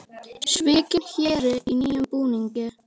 Svikinn héri í nýjum búningi